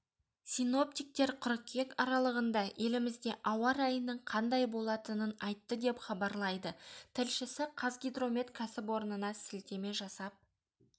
синоптиктер қыркүйек аралығында елімізде ауа райының қандай болатынын айтты деп хабарлайды тілшісі қазгидромет кәсіпорнына сілтеме жасап